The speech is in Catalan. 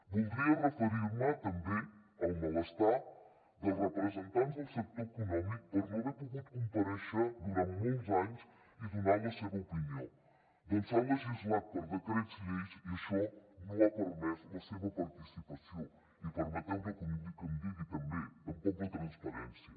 voldria referir me també al malestar dels representants del sector econòmic per no haver pogut comparèixer durant molts anys i donar la seva opinió ja que s’ha legislat per decrets llei i això no ha permès la seva participació i permeteu me que ho digui també tampoc la transparència